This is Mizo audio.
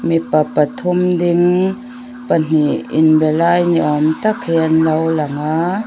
mipa pathum ding pahnih in be lai ni awm tak hi an lo langa.